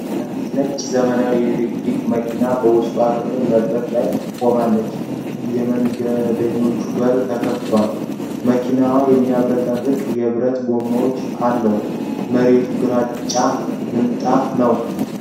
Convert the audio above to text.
አንዲት ነጭ፣ ዘመናዊ ኤሌክትሪክ መኪና በውስጠኛ ክፍል መድረክ ላይ ቆማለች። የመንገደኞች በር ተከፍቷል፤ መኪናው የሚያብረቀርቅ የብረት ጎማዎች አለው። መሬቱ ግራጫ ምንጣፍ ነው።